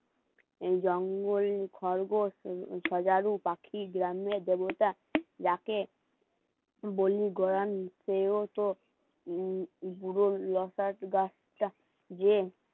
এই জঙ্গলে খরগোশ সজারু পাখি গ্রামে দেবতা যাকে বলি সেও তো পুরো গাছ টা